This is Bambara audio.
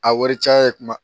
A wari caya ye kuma